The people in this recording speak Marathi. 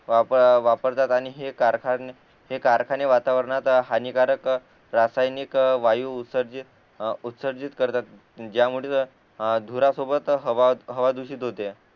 वापरतात आणि हे कारखाने हे कारखाने वातावरणात हानिकारक रासायनिक वायू उत्सर्जित उत्सर्जित करतात ज्यामुळे धुरा सोबत हवा हवा दुषित होते